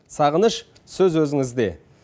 сағыныш сөз өзіңізде